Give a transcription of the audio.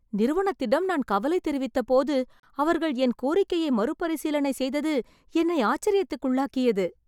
நிறுவனத்திடம் நான் கவலை தெரிவித்தபோது அவர்கள் என் கோரிக்கையை மறுபரிசீலனை செய்தது என்னை ஆச்சர்யத்திற்குள்ளாகியது.